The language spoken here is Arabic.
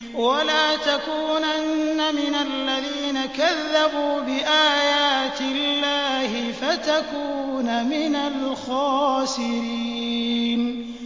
وَلَا تَكُونَنَّ مِنَ الَّذِينَ كَذَّبُوا بِآيَاتِ اللَّهِ فَتَكُونَ مِنَ الْخَاسِرِينَ